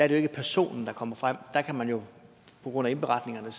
ikke personen der kommer frem der kan man jo på grund af at indberetningerne er